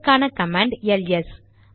இதற்கான command LS